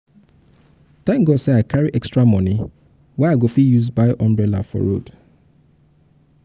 tank god sey i carry extra moni wey i use buy umbrella for road.